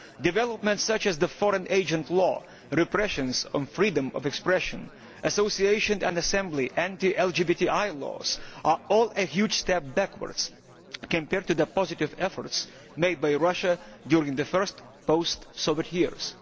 Developments such as the Foreign Agent Law, the repression of freedom of expression, association and assembly, and the anti LGBTI laws are all huge steps backwards, in contrast to the positive efforts which Russia made during the first post Soviet years.